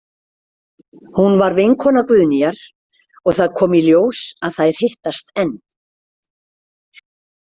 Hún var vinkona Guðnýjar og það kom í ljós að þær hittast enn.